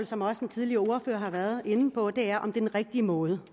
som også den tidligere ordfører har været inde på om det er den rigtige måde